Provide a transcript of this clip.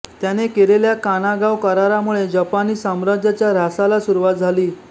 त्याने केलेल्या कानागावा करारामुळे जपानी साम्राज्याच्या ऱ्हासाला सुरूवात झाली